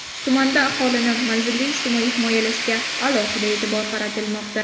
Tumanda aholini manzilli ijtimoiy himoyalashga alohida e’tibor qaratilmoqda.